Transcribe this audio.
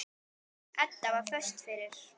Edda var föst fyrir.